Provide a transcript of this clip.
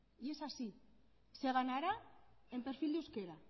y es así se ganará en perfil de euskera